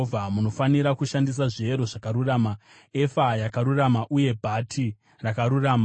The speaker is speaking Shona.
Munofanira kushandisa zviyero zvakarurama, efa yakarurama uye bhati rakarurama.